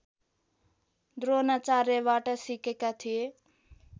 द्रोणाचार्यबाट सिकेका थिए